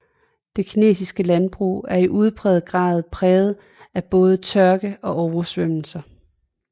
Det kinesiske landbrug er i udpræget grad præget af både tørke og oversvømmelser